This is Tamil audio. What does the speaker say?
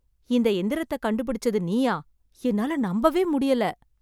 இந்த எந்திரத்தை கண்டுபிடிச்சது நீயா ? என்னால நம்பவே முடியல!